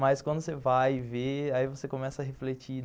Mas quando você vai e vê, aí você começa a refletir.